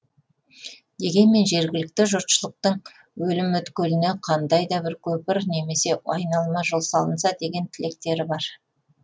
дегенмен жергілікті жұртшылықтың өлім өткеліне қандайда бір көпір немесе айналма жол салынса деген тілектері бар